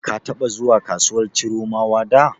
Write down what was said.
Ka taɓa zuwa kasuwar Chiromawa da?